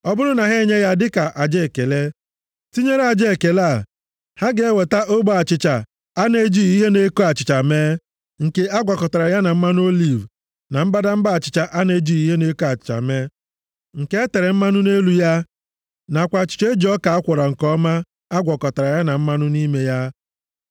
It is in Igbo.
“ ‘Ọ bụrụ na ha enye ya dịka aja ekele, tinyere aja ekele a ha ga-eweta ogbe achịcha a na-ejighị ihe na-eko achịcha mee, nke a gwakọtara ya na mmanụ oliv, na mbadamba achịcha a na-ejighị ihe na-eko achịcha mee, nke e tere mmanụ nʼelu ya, nakwa achịcha e ji ọka a kwọrọ nke ọma a gwakọtara ya na mmanụ nʼime ya.